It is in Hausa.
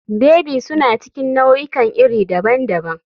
Baby suna cikin nau'ikan iri daban-daban.